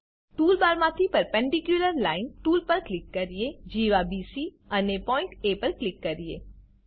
tool બારમાંથી perpendicular line tool પર click કરીએ જીવા બીસી અને પોઈન્ટ એ પર ક્લિક કરીએ